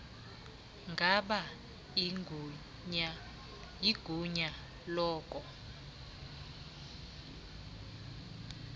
ngaba igunya loko